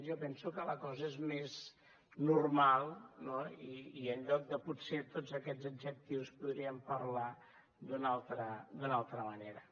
jo penso que la cosa és més normal no i en lloc de potser tots aquests adjectius podríem parlar d’una altra manera